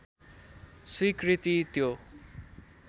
स्वीकृति त्यो